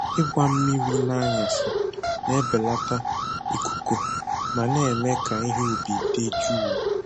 Ịgba mmiri n’anyasị na-ebelata ikuku ma na-eme ka ihe ubi dị jụụ.